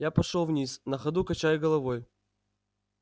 я пошёл вниз на ходу качая головой